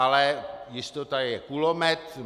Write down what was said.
Ale jistota je kulomet.